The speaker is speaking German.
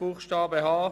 Buchstabe h